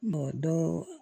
dɔɔ